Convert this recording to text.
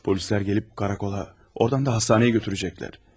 Polislər gəlib polis idarəsinə, oradan da xəstəxanaya aparacaqlar.